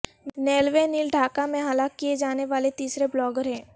نیلوئے نیل ڈھاکہ میں ہلاک کیے جانے والے تیسرے بلاگر ہیں